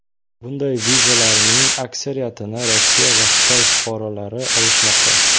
Bunday vizalarning aksariyatini Rossiya va Xitoy fuqarolari olishmoqda.